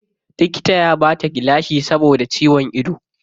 Likita ya bata gilashi saboda ciwon ido.